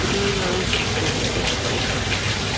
ঔষুধের কারনেও স্বাস্থ্যখাতে অবস্থা খুব খারাপ